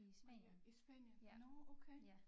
Mallorca i Spanien nårh okay